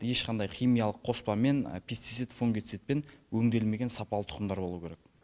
ешқандай химиялық қоспамен пестицит фунгицитпен өңделмеген сапалы тұқымдар болуы керек